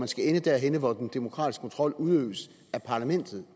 skal ende derhenne hvor den demokratiske kontrol udøves af parlamentet